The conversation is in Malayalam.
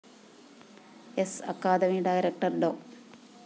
സ്‌ അക്കാദമി ഡയറക്ടർ ഡോ